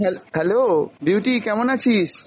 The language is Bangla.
হ্যাঁ hello বিউটি কেমন আছিস?